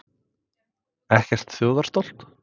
Ekkert þjóðarstolt?